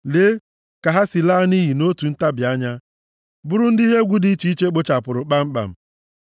Lee, ka ha si laa nʼiyi nʼotu ntabi anya, bụrụ ndị ihe egwu dị iche iche kpochapụrụ kpamkpam!